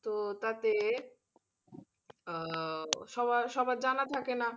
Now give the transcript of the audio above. তো তাতে আহ সবার সবার জানা থাকেনা